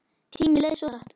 Tíminn leið svo hratt.